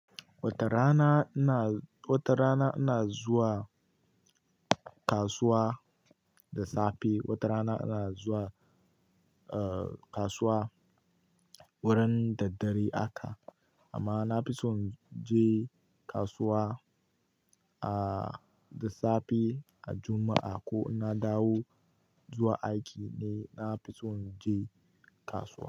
Wata rana ina, wata rana ina zuwa kasuwa da safe. Wata rana ina zuwa, eh, kasuwa wurin daddare haka. Amma na fi son inje kasuwa, ah, da safe ran Juma'a ko na dawo zuwa aiki ne na fi son inje kasuwa.